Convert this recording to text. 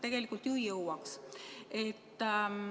Tegelikult ju jõuaks.